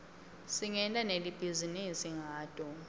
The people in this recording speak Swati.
singenta nali bhizinisi ngato